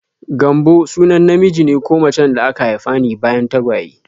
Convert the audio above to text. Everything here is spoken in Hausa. Gambo sunan namiji ko macen da aka haifa ne bayan tagwaye.